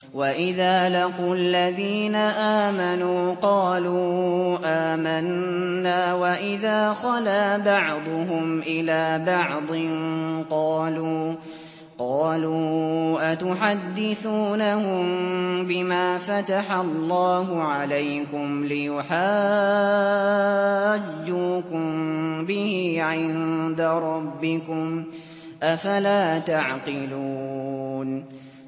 وَإِذَا لَقُوا الَّذِينَ آمَنُوا قَالُوا آمَنَّا وَإِذَا خَلَا بَعْضُهُمْ إِلَىٰ بَعْضٍ قَالُوا أَتُحَدِّثُونَهُم بِمَا فَتَحَ اللَّهُ عَلَيْكُمْ لِيُحَاجُّوكُم بِهِ عِندَ رَبِّكُمْ ۚ أَفَلَا تَعْقِلُونَ